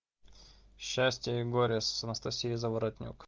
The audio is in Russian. счастье и горе с анастасией заворотнюк